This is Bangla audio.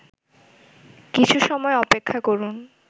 কিছু সময় অপেক্ষা করুন